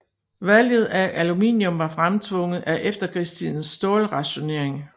Valget af aluminium var fremtvunget af efterkrigstidens stålrationering